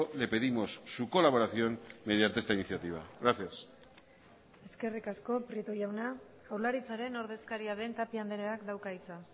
le pedimos su colaboración mediante esta iniciativa gracias eskerrik asko prieto jauna jaurlaritzaren ordezkaria den tapia andreak dauka hitza